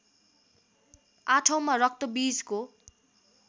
आठौँमा रक्तबीजको